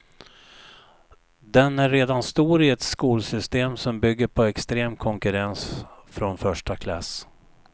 Den är redan stor i ett skolsystem som bygger på extrem konkurrens från första klass.